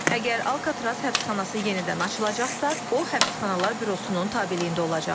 Əgər Alkatraz həbsxanası yenidən açılacaqsa, o, həbsxanalar bürosunun tabeliyində olacaq.